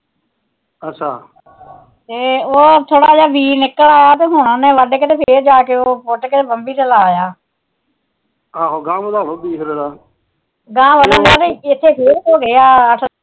ਅੱਛਾ ਤੇ ਉਹ ਥੋੜਾ ਜਾ ਬੀ ਨਿਕਲ ਆਇਆ ਹੁਣ ਫਿਰ ਜਾਕੇ ਪੁਟ ਕੇ ਬੰਬੀ ਚ ਲਾਇਆ ਆਹੋ ਗਾਹਾ ਵਧਾਲੋ ਬੀਹ ਉਹਦਾ